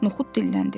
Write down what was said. Noxud dilləndi.